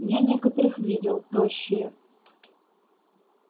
я некоторых видел тощие